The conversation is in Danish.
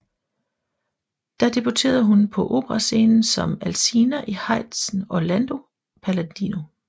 Der debuterede hun på operascenen som Alcina i Haydns Orlando paladino